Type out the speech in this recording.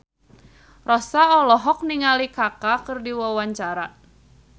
Rossa olohok ningali Kaka keur diwawancara